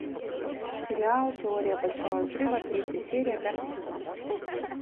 сериал теория большого взрыва третья серия пятый сезон